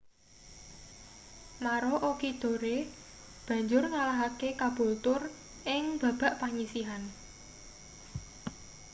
maroochydore banjur ngalahake caboolture ing babak panyisihan